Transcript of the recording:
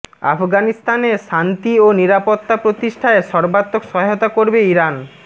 আফগানিস্তানে শান্তি ও নিরাপত্তা প্রতিষ্ঠায় সর্বাত্মক সহায়তা করবে ইরান